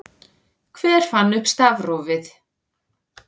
Hver fann upp stafrófið?